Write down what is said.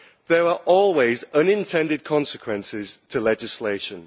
There are always unintended consequences to legislation.